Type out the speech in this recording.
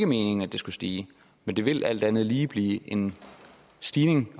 meningen at det skal stige men det vil alt andet lige give en stigning